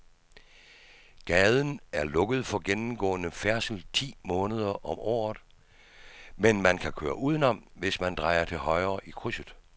Gaden er lukket for gennemgående færdsel ti måneder om året, men man kan køre udenom, hvis man drejer til højre i krydset.